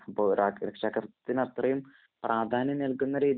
അപ്പൊ ഒരാക്ക് രക്ഷാകര്‍ത്ത്വത്തിനു അത്രയും പ്രാധാന്യം നല്‍കുന്ന രീതി